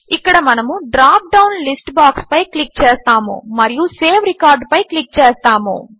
ఇక్కడ మనము drop down list బాక్స్పై క్లిక్ చేస్తాము మరియు సేవ్ రికార్డ్ పై క్లిక్ చేస్తాము